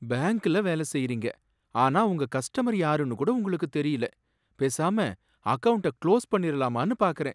பேங்க்ல வேல செய்யறீங்க ஆனா உங்க கஸ்டமர் யாருனு கூட உங்களுக்கு தெரியல, பேசாம அக்கவுண்ட்ட குளோஸ் பண்ணிடலாமானு பார்க்கறேன்